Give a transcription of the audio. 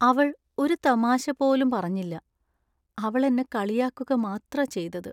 അവൾ ഒരു തമാശ പോലും പറഞ്ഞില്ല, അവൾ എന്നെ കളിയാക്കുക മാത്രാ ചെയ്തത്.